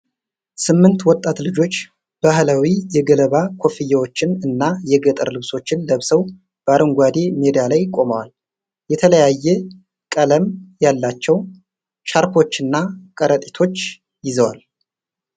ስምንት ወጣት ልጆች ባህላዊ የገለባ ኮፍያዎችን እና የገጠር ልብሶችን ለብሰው በአረንጓዴ ሜዳ ላይ ቆመዋል። የተለያየ ቀለም ያላቸው ሻርፖችና ከረጢቶች ይዘዋል።